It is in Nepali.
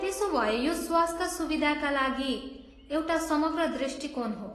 त्यसो भए यो स्वास्थ सुविधाका लागि एउटा समग्र दृष्टिकोण हो।